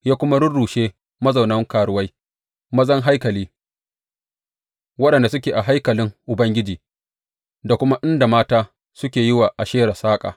Ya kuma rurrushe mazaunan karuwai mazan haikali waɗanda suke a haikalin Ubangiji, da kuma inda mata suke yi wa Ashera saƙa.